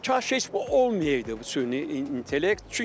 Kaş heç bu olmayaydı bu süni intellekt.